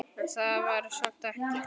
En það var samt ekki.